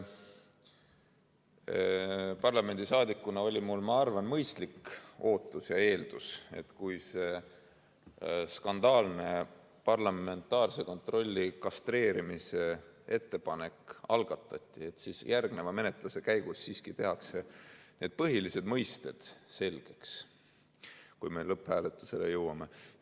Parlamendiliikmena oli mul, ma arvan, mõistlik ootus ja eeldus, kui see skandaalne parlamentaarse kontrolli kastreerimise ettepanek algatati, et järgneva menetluse käigus siiski tehakse põhilised mõisted selgeks, enne kui meie lõpphääletusele jõuame.